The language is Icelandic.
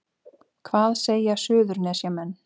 Hvað segja Suðurnesjamenn